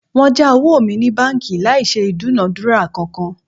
Wọ́n já owó mi ní báńkì láì ṣe ìdúnadúrà kankan